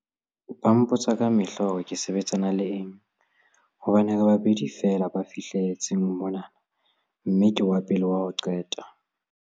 Ba mpotsa kamehla hore ke sebetsana le eng hobane re babedi feela ba fihle letseng mona mme ke wa pele wa ho qeta